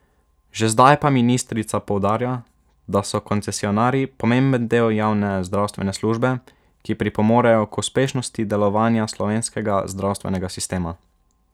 Že zdaj pa ministrica poudarja, da so koncesionarji pomemben del javne zdravstvene službe, ki pripomorejo k uspešnosti delovanja slovenskega zdravstvenega sistema.